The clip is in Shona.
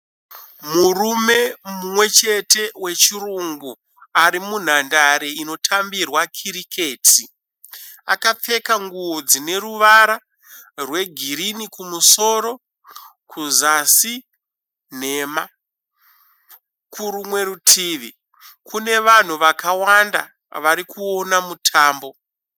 Murume mumwe chete wechirungu arimunhandare inotambirwa kiriketi. Akapfeka nguwo dzine ruvara rwegirini kumusoro kuzasi nhema. Kurumwe rutivi kune vanhu vakawanda varikuona mutambo.